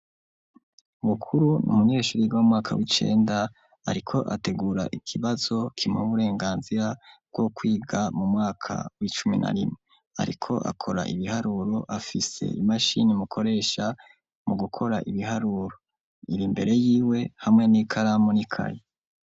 Bukuru n'umunyeshuri yiga m'umwaka w'icenda ariko ategura ikibazo kimuh' uburenganzira bw' ukwiga mu mwaka w'icumi na rime ariko akora ibiharuro afise imashin' imukoresha mu gukor' ibiharuro, ir'imbere yiwe hamwe n'ikaramu n'ikaye.